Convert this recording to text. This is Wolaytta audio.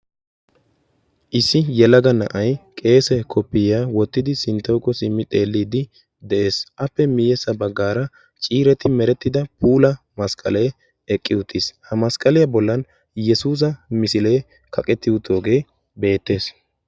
issi yelaga na7ai qeese koppiiyaa wottidi sinttougo simmi xeelliiddi de7ees appe miyessa baggaara ciireti merettida puula masqqalee eqqi uttiis ha masqqaliyaa bollan yesuusa misilee kaqetti uttoogee beettees